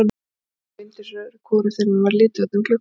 Margrét gleymdi sér öðru hverju þegar henni varð litið út um gluggann.